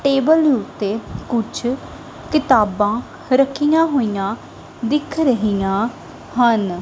Table ਉੱਤੇ ਕੁਝ ਕਿਤਾਬਾਂ ਰੱਖੀਆਂ ਹੋਈਆਂ ਦਿਖ ਰਹੀਆਂ ਹਨ।